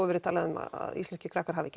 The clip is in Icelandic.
verið talað um að íslenskir krakkar hafi